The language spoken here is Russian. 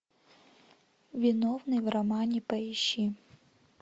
виновный в романе поищи